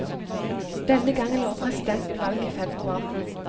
Denne gangen lover presidenten valg i februar.